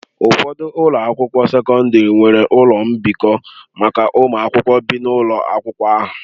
Ụfọdụ ụlọ akwụkwọ sekọndrị nwere ụlọ mbikọ maka ụmụ akwụkwọ bi n'ụlọ akwụkwọ ahụ.